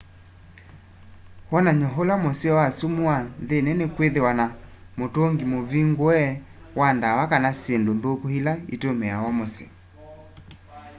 wonany'o ula museo wa sumu wa nthĩnĩ nĩ kwĩthĩwa na mũtũngĩ mũvĩngũe wa dawa kana syĩndũ nthũkũ ĩla ĩtũmĩawa mũsyĩ